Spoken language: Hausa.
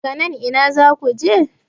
daga nan Ina za ku je?